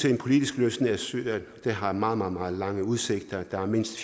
en politisk løsning i syrien har meget meget lange udsigter der er mindst